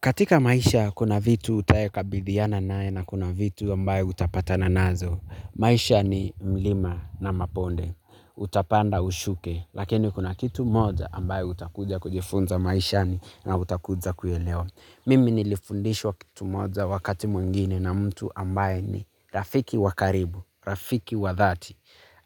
Katika maisha, kuna vitu utayo kabidhiana nae na kuna vitu ambaye utapata na nazo. Maisha ni mlima na maponde. Utapanda ushuke. Lakini kuna kitu moja ambaye utakuja kujifunza maishani na utakuja kuelewa. Mimi nilifundishwa kitu moja wakati mwengine na mtu ambaye ni rafiki wakaribu, rafiki wadhati.